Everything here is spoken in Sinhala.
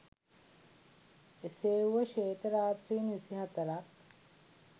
එසේ වුව ශ්වේත රාත්‍රීන් විසිහතරක්